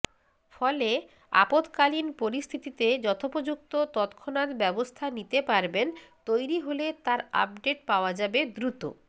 ফলে আপৎকালীন পরিস্থিতিতে যথোপযুক্ত তত্ক্ষণাত্ ব্যবস্থা নিতে পারবেন তৈরি হলে তার আপডেট পাওয়া যাবে দ্রুত